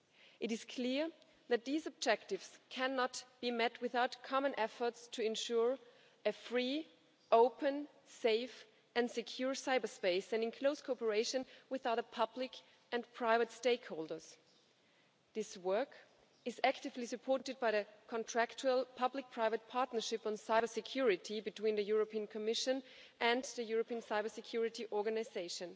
It is clear that these objectives cannot be met without common efforts to ensure a free, open, safe and secure cyberspace and in close cooperation with other public and private stakeholders. This work is actively supported by the contractual public-private partnership on cybersecurity between the European Commission and the European Cyber Security Organisation.